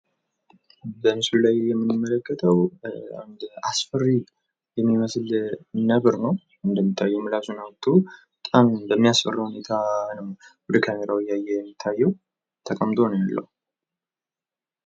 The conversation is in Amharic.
በምስሉ ላይ የምንመለከተው አንድ አስፈሪ የሚመስል ነብር ነው። እንደሚታየው ምላሱን አውጥቶ በጣም በሚያስፈራ ሁኔታ ነው ወደ ካሜራው እያየ የሚታየው ተቀምጦ ነው የሚውለው።